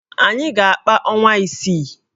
Anyị ga-akpa ọnwa isii